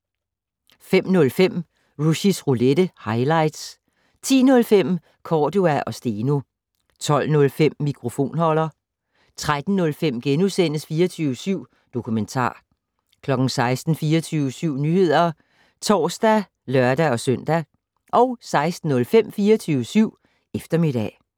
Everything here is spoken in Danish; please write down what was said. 05:05: Rushys Roulette - highlights 10:05: Cordua & Steno 12:05: Mikrofonholder 13:05: 24syv Dokumentar * 16:00: 24syv Nyheder (tor og lør-søn) 16:05: 24syv Eftermiddag